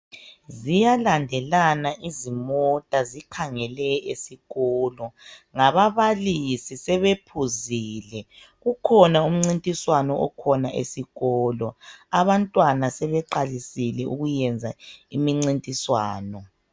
Ziyalandelana izimota zikhangele esikolo ngababalisi sebephuzile kukhona umncintiswano esikolo abantwana sebeqalisile ukuyenza imincintiswano.